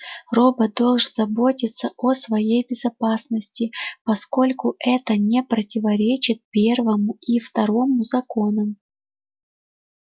робот должен заботиться о своей безопасности поскольку это не противоречит первому и второму законам